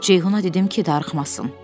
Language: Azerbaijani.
Ceyhuna dedim ki, darıxmasın.